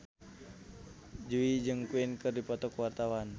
Jui jeung Queen keur dipoto ku wartawan